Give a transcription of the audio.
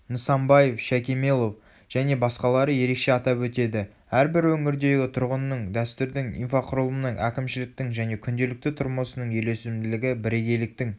нысанбаев шайкемелов және басқалары ерекше атап өтеді әрбір өңірдегі тұрғынның дәстүрдің инфрақұрылымның әкімшіліктің және күнделікті тұрмысының үйлесімділігі бірегейліктің